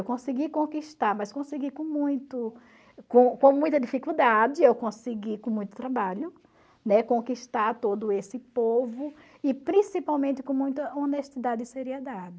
Eu consegui conquistar, mas consegui com muito com com muita dificuldade, eu consegui com muito trabalho, né, conquistar todo esse povo e principalmente com muita honestidade e seriedade.